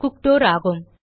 குக்டர் ஆகும்